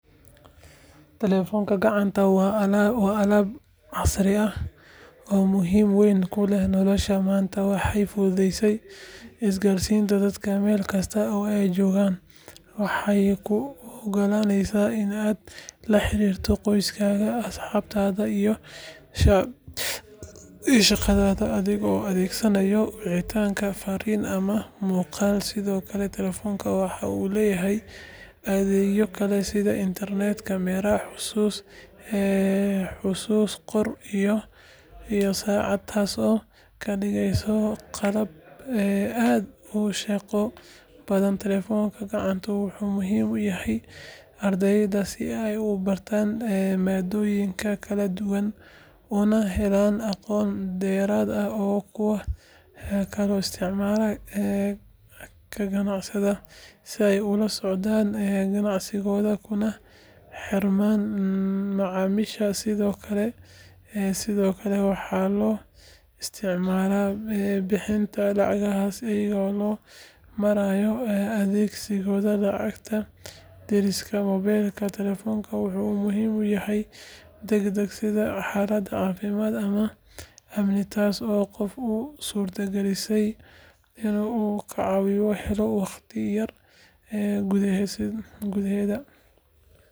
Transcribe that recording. Telefoonka gacanta waa aalad casri ah oo muhiimad weyn u leh nolosha maanta waxay fududeysay isgaarsiinta dadka meel kasta oo ay joogaan waxay kuu ogolaanaysaa in aad la xiriirto qoyskaaga asxaabtaada iyo shaqadaada adigoo adeegsanaya wicitaan fariin ama muuqaal sidoo kale telefoonka waxa uu leeyahay adeegyo kale sida internet camera xusuus qor iyo saacad taasoo ka dhigeysa qalab aad u shaqo badan telefoonka gacanta wuxuu muhiim u yahay ardayda si ay u baaraan maadooyinka kala duwan una helaan aqoon dheeraad ah waxaa kaloo isticmaala ganacsatada si ay ula socdaan ganacsigooda kuna xirmaan macaamiisha sidoo kale waxaa loo isticmaalaa bixinta lacagaha iyada oo loo marayo adeegyada lacag dirista mobaylka telefoonku waxa uu muhiim u yahay degdegga sida xaaladaha caafimaad ama amni taasoo qofka u suurtagelineysa in uu caawimo helo waqti yar gudaheed sidoo kale waa aalad lagu madadaasho iyadoo loo marayo muusig filimaan iyo ciyaaro taasoo qofka ka caawisa nasasho iyo farxad telefoonka gacanta waa aalad nolosha casriga ah lagama maarmaan u ah.